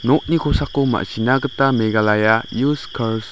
nokni kosako ma·sina gita megalaya us kars --